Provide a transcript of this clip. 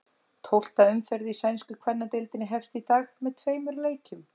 Tólfta umferð í sænsku kvennadeildinni hefst í dag með tveimur leikjum.